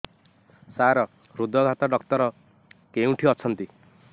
ସାର ହୃଦଘାତ ଡକ୍ଟର କେଉଁଠି ଅଛନ୍ତି